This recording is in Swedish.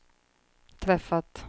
träffat